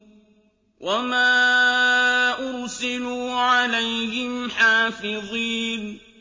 وَمَا أُرْسِلُوا عَلَيْهِمْ حَافِظِينَ